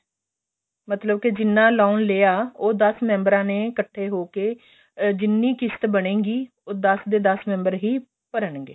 ਮਤਲਬ ਕੇ ਜਿੰਨਾ loan ਲਿਆ ਉਹ ਦਸ member ਆ ਨੇ ਇੱਕਠੇ ਹੋ ਕੇ ਅਹ ਜਿੰਨੀ ਕਿਸ਼ਤ ਬਣੇਗੀ ਉਹ ਦਸ ਦੇ ਦਸ member ਹੀ ਭਰਨਗੇ